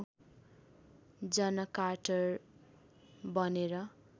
जन कार्टर बनेर